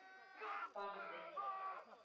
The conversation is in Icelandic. Barði